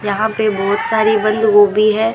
यहां पे बहोत सारी बंद गोभी है।